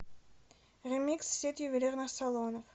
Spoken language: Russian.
ремикс сеть ювелирных салонов